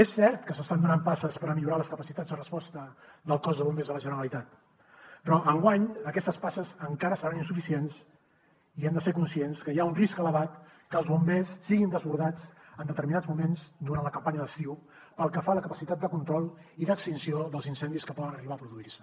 és cert que s’estan donant passes per millorar les capacitats de resposta del cos de bombers de la generalitat però enguany aquestes passes encara seran insuficients i hem de ser conscients que hi ha un risc elevat que els bombers siguin desbordats en determinats moments durant la campanya d’estiu pel que fa a la capacitat de control i d’extinció dels incendis que poden arribar a produir se